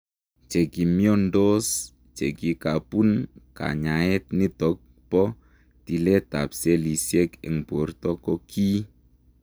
Chekimiondoos chekikapuun kanyaet nitok poo tileet ap selisiek eng portoo ko kii